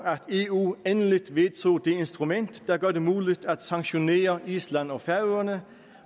eu endelig vedtog det instrument der gør det muligt at sanktionere island og færøerne